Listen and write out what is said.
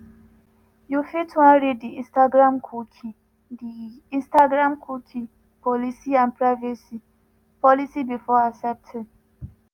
you fit wan read di instagramcookie di instagramcookie policyandprivacy policybefore accepting.